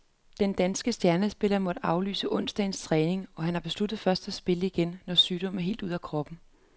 Den danske stjernespiller måtte afbryde onsdagens træning, og han har besluttet først at spille igen, når sygdommen er helt ude af kroppen.